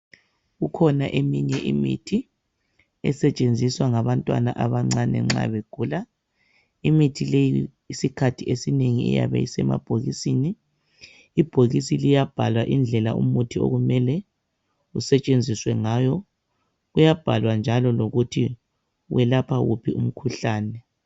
Kukhona eminye imithi esetshenziswa ngabantwana abancane nxa begula. Imithi leyi isikhathi esinengi iyabe isemabhokisini .Ibhokisi liyabhalwa indlela umuthi okumele usetshenziswe ngayo .Kuyabhalwa njalo lokuthi welapha wuphi umkhuhlane .